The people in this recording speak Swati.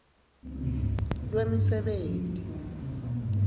lwemisebenti